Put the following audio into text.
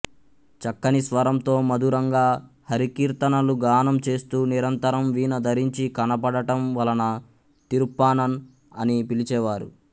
చక్కని స్వరంతో మధురంగా హరికీర్తనలు గానం చేస్తూ నిరంతరం వీణ ధరించి కనపడటం వలన తిరుప్పానన్ అని పిలిచేవారు